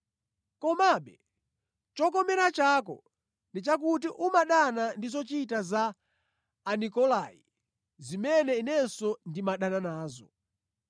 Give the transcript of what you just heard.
Komabe chokomera chako ndi chakuti umadana ndi zochita za Anikolai, zimene Inenso ndimadana nazo.